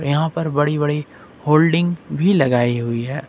यहां पर बड़ी बड़ी होल्डिंग भी लगाई हुई है।